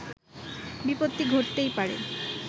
বিপত্তি ঘটতেই পারে